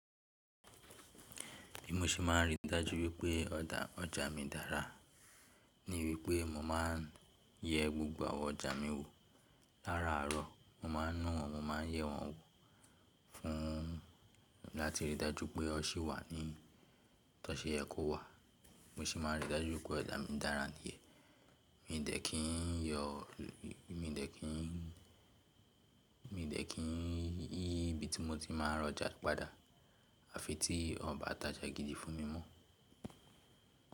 Bí mo ṣe máa rí i dájú wípé ọjà mi dára ni wípé mo máa ń yẹ gbogbo àwọn ọjà mi wò. Láràárọ̀ mo máa ń na wọ́n, mo ma ń yẹ wọ́n wò fún láti rí i dájú pé ó ṣì wà ní tó ṣe yẹ kó wà. Bi mo ṣe máa n rí i dájú wípé ọ̀ja mi dára níyẹ̀n. Mi dẹ̀ kín yọ̀, mi ò dẹ̀ kín, mi ò dẹ̀ kín yí ibi tí mo ti máa n rọjà padà àfi tí won o ba tajà gidi fún mi mọ́.